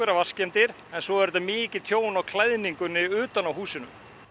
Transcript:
vatnsskemmdir en svo er mikið tjón á klæðningunni utan á húsinu